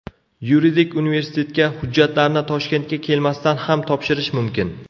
Yuridik universitetga hujjatlarni Toshkentga kelmasdan ham topshirish mumkin.